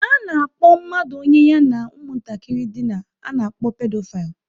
A na-akpọ mmadụ onye ya na ụmụntakịrị dina, a na-akpọ Pedophile